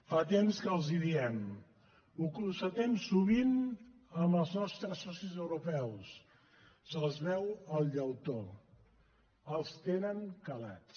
fa temps que els hi diem ho constatem sovint amb els nostres socis europeus se’ls veu el llautó els tenen calats